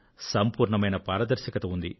సంపూర్ణమైన పారదర్శకత ఉంది